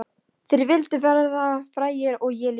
Þeir vildu verða frægir og ég líka.